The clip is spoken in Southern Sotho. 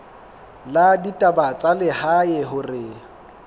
la ditaba tsa lehae hore